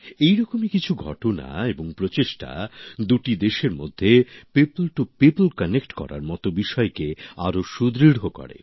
এরকমই কিছু ঘটনা এবং প্রচেষ্টা দুটি দেশের মধ্যে জনসাধারণের মধ্যে যোগাযোগের মত বিষয়কে আরো সুদৃঢ় করে